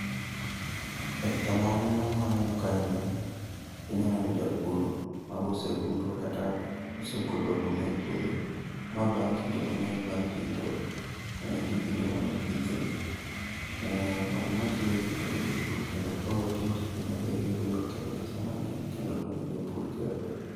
E picha mawaneno ma aneno kae ni, inya neno japur. ma boserundo kata osegolo oduma e puodho, ma bang' kinde mang'eny bang' rito, gi kinde mano pithe. Oduma kelo yuto ne jopur kendo ko otim tijni maber iyudo nokelo pesa mang'eny kendo okonyo jopur gerre.